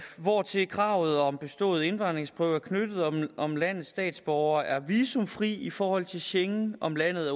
hvortil kravet om bestået indvandringsprøve er knyttet om om landets borgere er visumfri i forhold til schengen om landet